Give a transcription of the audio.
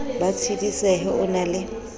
ba tshedisehe o na le